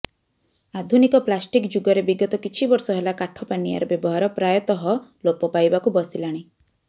ଆଧୁନିକ ପ୍ଳାଷ୍ଟିକ ଯୁଗରେ ବିଗତ କିଛି ବର୍ଷ ହେଲା କାଠ ପାନିଆର ବ୍ୟବହାର ପ୍ରାୟତଃ ଲୋପ ପାଇବାକୁ ବସିଲାଣି